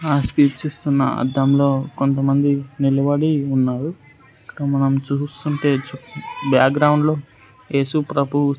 ఆ స్పీచ్ ఇస్తున్న అద్దంలో కొంతమంది నిలబడి ఉన్నారు ఇక్కడ మనం చూస్తుంటే చు బ్యాక్గ్రౌండ్ లో ఏసుప్రభు.